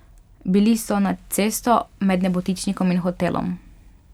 Bili so nad cesto med nebotičnikom in hotelom.